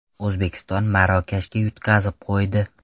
O‘zbekiston Marokashga yutqazib qo‘ydi.